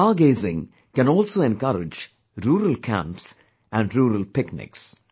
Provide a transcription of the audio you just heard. Star gazing can also encourage rural camps and rural picnics